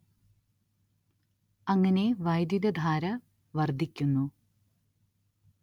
അങ്ങനെ വൈദ്യുതധാര വർദ്ധിക്കുന്നു